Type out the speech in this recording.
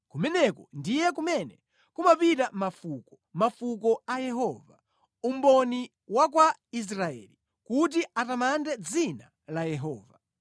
Kumeneko ndiye kumene kumapita mafuko, mafuko a Yehova, umboni wa kwa Israeli, kuti atamande dzina la Yehova.